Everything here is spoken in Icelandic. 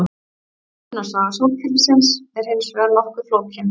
Myndunarsaga sólkerfisins er hins vegar nokkuð flókin.